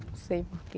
Não sei por quê.